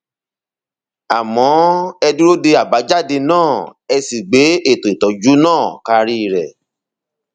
àmọ ẹ dúró de àbájáde náà ẹ sì gbé ètò ìtọjú náà karí rẹ